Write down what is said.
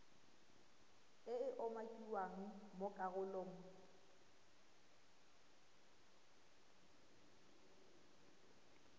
e e umakiwang mo karolong